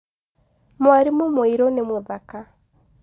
mwalimũ mũirũ nĩ mũthaka